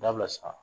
Dabila san